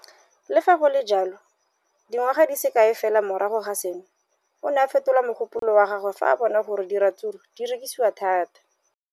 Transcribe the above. Le fa go le jalo, dingwaga di se kae fela morago ga seno, o ne a fetola mogopolo wa gagwe fa a bona gore diratsuru di rekisiwa thata.